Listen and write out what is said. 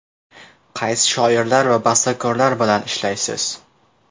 Qaysi shoirlar va bastakorlar bilan ishlaysiz?